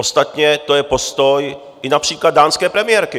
Ostatně to je postoj i například dánské premiérky.